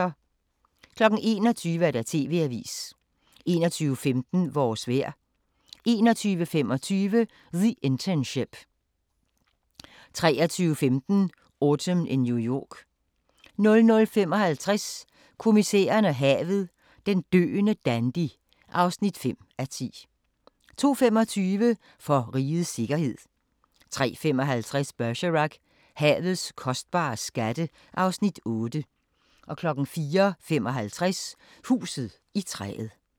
21:00: TV-avisen 21:15: Vores vejr 21:25: The Internship 23:15: Autumn in New York 00:55: Kommissæren og havet: Den døende dandy (5:10) 02:25: For rigets sikkerhed 03:55: Bergerac: Havets kostbare skatte (Afs. 8) 04:55: Huset i træet